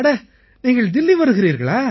அட நீங்கள் தில்லி வருகிறீர்களா